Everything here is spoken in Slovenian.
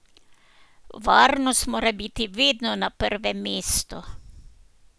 Varnost mora biti vedno na prvem mestu.